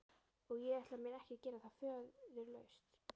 Og ég ætla mér ekki að gera það föðurlaust.